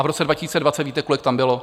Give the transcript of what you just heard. A v roce 2020 víte, kolik tam bylo?